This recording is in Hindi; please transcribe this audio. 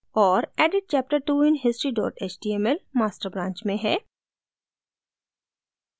और added chapter two in history html master branch में है